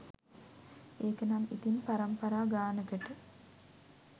ඒකනම් ඉතින් පරම්පරා ගානකට